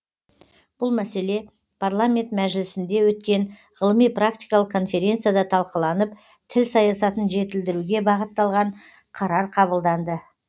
бұл мәселе парламент мәжілісінде өткен ғылыми практикалық конференцияда талқыланып тіл саясатын жетілдіруге бағытталған қарар қабылданды